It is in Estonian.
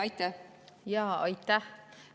Aitäh!